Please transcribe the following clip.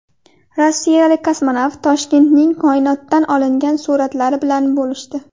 Rossiyalik kosmonavt Toshkentning koinotdan olingan suratlari bilan bo‘lishdi .